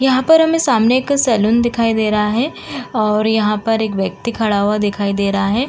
यहां पर हमें सामने एक सैलून दिखाई दे रहा है और यहां पर एक व्यक्ति खड़ा हुआ दिखाई दे रहा है।